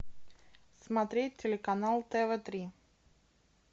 смотреть телеканал тв три